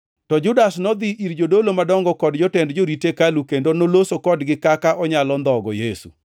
To Judas nodhi ir jodolo madongo kod jotend jorit hekalu kendo noloso kodgi kaka onyalo ndhogo Yesu.